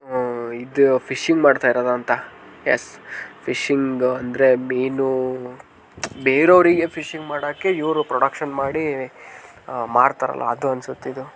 ಆ ಇದು ಫಿಶಿಂಗ್ ಮಾಡುತ್ತಿರುವುದು ಅಂಥ ಎಸ್ ಫಿಶಿಂಗ್ ಅಂದರೆ ಮೀನು ಬೇರೆಯವರಿಗೆ ಫಿಶಿಂಗ್ ಮಾಡೋಕೆ ಇವರು ಪ್ರೊಡಕ್ಷನ್ ಮಾಡಿ ಆ ಮಾಡುತ್ತಾರಲ್ಲಾ ಅದು ಅನ್ಸುತ್ತೆ ಇದು .